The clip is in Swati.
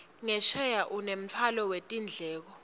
ngesheya unemtfwalo wetindleko